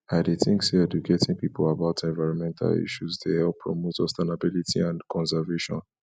i dey think say educating people about environmental issues dey help promote sustainability and conservation